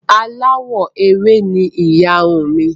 Aláwọ̀ ewé ni ìyarun uǹ mi